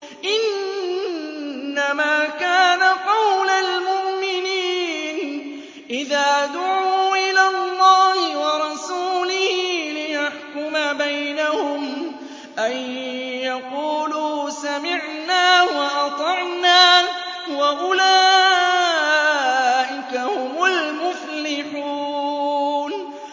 إِنَّمَا كَانَ قَوْلَ الْمُؤْمِنِينَ إِذَا دُعُوا إِلَى اللَّهِ وَرَسُولِهِ لِيَحْكُمَ بَيْنَهُمْ أَن يَقُولُوا سَمِعْنَا وَأَطَعْنَا ۚ وَأُولَٰئِكَ هُمُ الْمُفْلِحُونَ